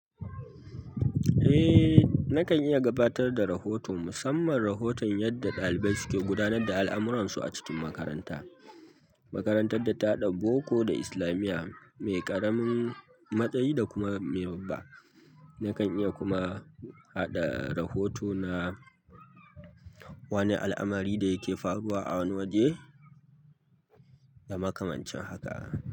Eh, nakan iya gabatar da rahoto, musamman rahoton yadda ɗalibai suke gudanar da al'amuransu a cikin makaranta. Makarantar da ta ɗauko da islamiya mai ƙaramin matsayi da kuma mai babba. Nakan iya kuma haɗa rahoto na wani alamari dayake faruwa a wani waje da makamancin haka.